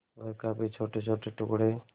वह काफी छोटेछोटे टुकड़े